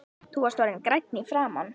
Þú varst orðinn grænn í framan.